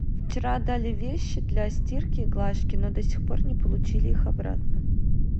вчера отдали вещи для стирки и глажки но до сих пор не получили их обратно